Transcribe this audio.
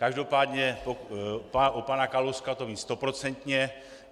Každopádně u pana Kalouska to vím stoprocentně.